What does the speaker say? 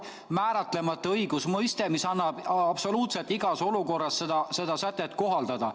See on määratlemata õigusmõiste, seda sätet saab absoluutselt igas olukorras kohaldada.